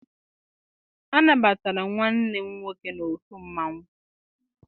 A nabatara nwanne m nwoke n'otu mmanwụ.